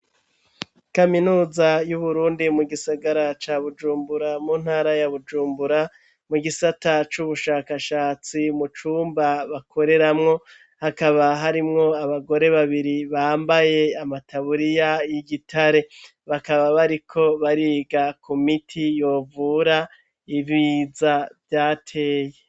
Kaminuza y'uburundi mu gisagara ca bujumbura muntara ya bujumbura mu gisata c'ubushakashatsi mucumba bakoreramwo hakaba harimwo abagore babiri bambaye amataburiya y'igitare bakaba bariko bariga ku miti yovura ibiza vyateye.